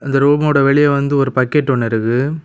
இந்த ரூமோட வெளிய வந்து ஒரு பக்கெட் ஒன்னு இருக்குது.